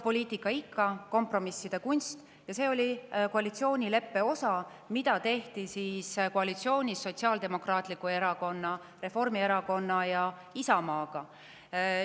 Poliitika on, nagu ikka, kompromisside kunst ja see oli osa koalitsioonileppest, mis tehti koalitsioonis Sotsiaaldemokraatliku Erakonna, Reformierakonna ja Isamaaga.